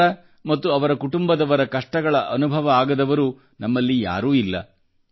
ಅವರ ಮತ್ತು ಅವರ ಕುಟುಂಬದವರ ಕಷ್ಟಗಳ ಅನುಭವ ಆಗದವರು ನಮ್ಮಲ್ಲಿ ಯಾರೂ ಇಲ್ಲ